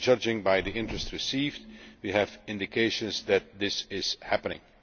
Judging by the interest received, we have indications that this is happening.